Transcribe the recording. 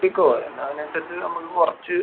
കൂട്ടിക്കോ. പിന്നെ അതിനനുസരിച്ച് നമുക്ക് കൊറച്ച്